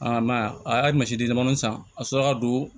mɛ a y'a a ma sidimaninw san a sɔrɔla ka don